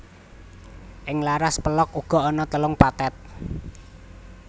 Ing laras pélog uga ana telung pathet